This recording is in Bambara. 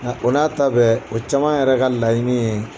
Nka o n'a ta bɛɛ o caman yɛrɛ ka laɲini ye